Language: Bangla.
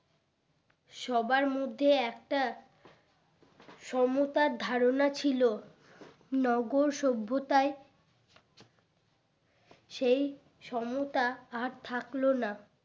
সবার মধ্যে একটা সমতার ধারণা ছিল নগর সভ্যতায় সেই সমতা আর থাকলো না